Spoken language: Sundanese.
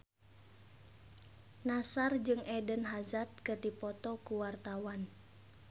Nassar jeung Eden Hazard keur dipoto ku wartawan